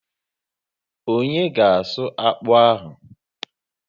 Onye ga asụ akpụ ahụ?